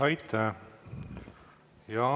Aitäh!